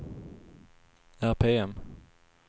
RPM